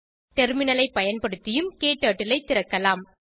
டெர்மினலை பயன்படுத்தியும் க்டர்ட்டில் ஐ திறக்கலாம்